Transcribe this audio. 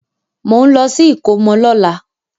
Mò ń lọ sí ìkómọ lọ́la.